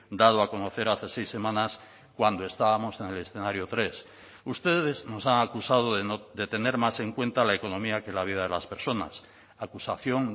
dado a conocer hace seis semanas cuando estábamos en el escenario tres ustedes nos han acusado de tener más en cuenta la economía que la vida de las personas acusación